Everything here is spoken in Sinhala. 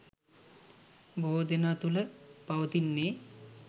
බොහෝ දෙනා තුල පවතින්නේ